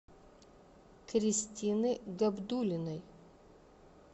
кристины габдуллиной